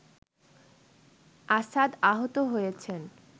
আসাদ আহত হয়েছেন